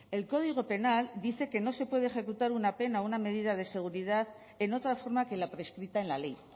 el código penal dice que no se puede ejecutar una pena o una medida de seguridad en otra forma que la prescrita en la ley